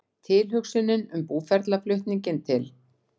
Tilhugsunin um búferlaflutninginn til